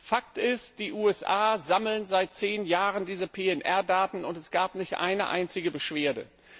Fakt ist, die USA sammeln seit zehn Jahren diese PNR Daten, und es gab nicht eine einzige Beschwerde.